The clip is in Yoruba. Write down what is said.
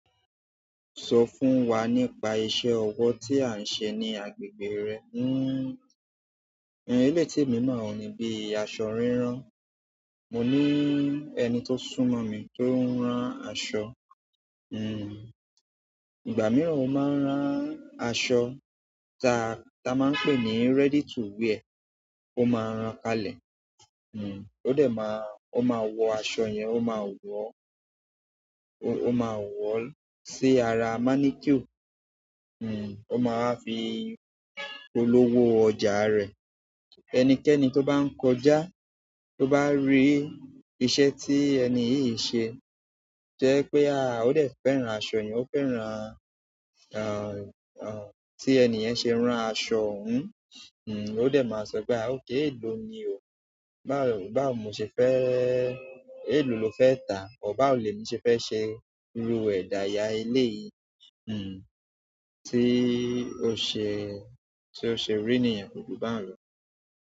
Sọ fún wa nípa iṣẹ́ ọwọ́ tí à ń ṣe ní agbègbè rẹ. N, ehn eléyii temi mọ̀ oun ni bíi asọ rírán. Mo ní ẹni tó súnmọ́ mi tó ń rán aṣọ. Hmm. Ìgbà mìíràn ó máa ń rán aṣọ ta ta máa ń pè ní ready to wear. O maa ran kalẹ̀ hmm. Ó dẹ̀ máa, ó máa wọ aṣọ yẹn, ó máa wọ̀ o, o ó máa wọ̀ o sí ara mannequin. Hmm. Ó má wa fi polówó ọjà rẹ̀. Ẹnikẹ́ni tó bá ń kọjá tó bá rí iṣẹ́ tí ẹni yìí ṣe, jẹ́ ipé, ah! Ó dẹ̀ fẹ́rán aṣọ yẹn. Ó fẹ́rán, ah, ah, tí ẹni yẹn ṣe rán aṣọ. Hmm. Hm o dẹ̀ máa sọ pé, ah! Okay èlò ni o. Baw, báwo mo se fe, elo lo fe ta a, or báwo lemi se fe se iru edaya eleyii hmm. Tí o ṣe, tí o ṣe rí niyen ko ju báun lò.